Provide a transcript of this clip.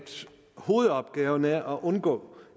hovedopgaven er at undgå